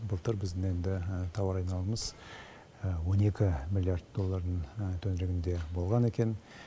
былтыр біздің енді тауар айналымымыз он екі миллиард доллардың төңірегінде болған екен